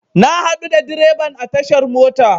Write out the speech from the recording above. Na haɗu da dreban a tashar mota.